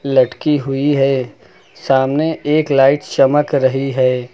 लटकी हुई है सामने एक लाइट चमक रही है।